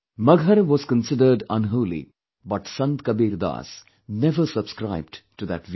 Maghar was considered unholy but Sant Kabirdas never subscribed to that view